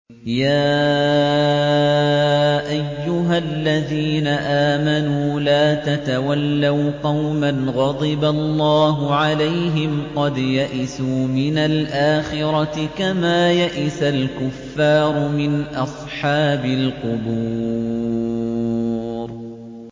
يَا أَيُّهَا الَّذِينَ آمَنُوا لَا تَتَوَلَّوْا قَوْمًا غَضِبَ اللَّهُ عَلَيْهِمْ قَدْ يَئِسُوا مِنَ الْآخِرَةِ كَمَا يَئِسَ الْكُفَّارُ مِنْ أَصْحَابِ الْقُبُورِ